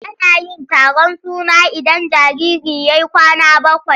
Ana yin taron suna idan jariri ya yi kwana bakwai.